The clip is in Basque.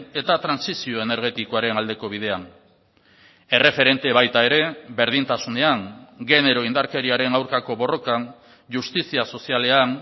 eta trantsizio energetikoaren aldeko bidean erreferente baita ere berdintasunean genero indarkeriaren aurkako borrokan justizia sozialean